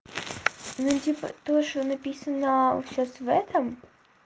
ну типа то что написано сейчас в этом